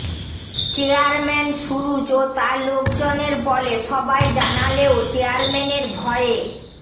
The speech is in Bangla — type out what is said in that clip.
চেয়ারম্যান সুরুজ ও তার লোকজনের বলে সবাই জানালেও চেয়ারম্যানের ভয়ে